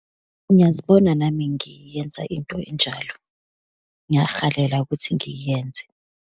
Ngiyazibona nami ngiyenza into enjalo, ngiyahalela ukuthi ngiyenze.